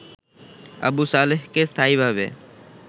আবু সালেহকে স্থায়ীভাবে